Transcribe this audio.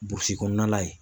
Burusi kɔnɔna la ye